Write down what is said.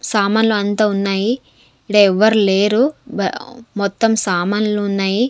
సామాన్లు అంతా ఉన్నాయి ఈడ ఎవ్వరు లేరు బ-- మొత్తం సామాన్లు ఉన్నాయి.